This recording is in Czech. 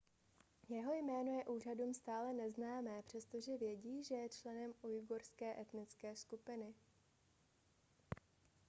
jeho jméno je úřadům stále neznámé přestože vědí že je členem ujgurské etnické skupiny